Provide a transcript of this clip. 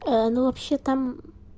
ну вообще там